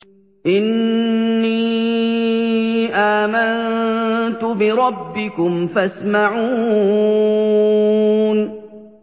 إِنِّي آمَنتُ بِرَبِّكُمْ فَاسْمَعُونِ